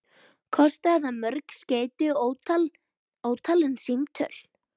Kostaði það mörg skeyti og ótalin símtöl.